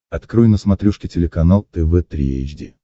открой на смотрешке телеканал тв три эйч ди